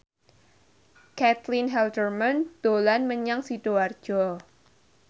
Caitlin Halderman dolan menyang Sidoarjo